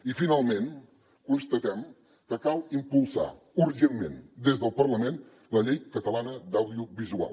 i finalment constatem que cal impulsar urgentment des del parlament la llei catalana de l’audiovisual